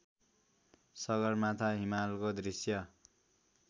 सगरमाथा हिमालको दृश्य